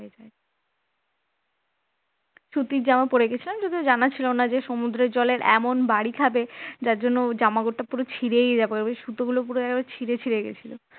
সুতির জামা পড়ে গেছিলাম যদিও জানা ছিল না যে সমুদ্রের জলে এমন বাড়ি খাবে যার জন্য জামাটা পুরো ছিড়ে যাবে সুতোগুলো পুরো ছিড়ে ছিড়ে গেছিল